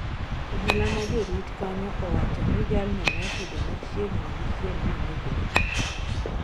Obila ma jorit kanyo owacho ni jalno nosudo machiegni gi chiel monegore